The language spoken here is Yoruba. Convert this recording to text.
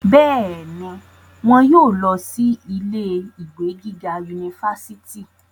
bẹ́ẹ̀ni, wọn yóò lọ sí ilé ìwé gíga unifásitì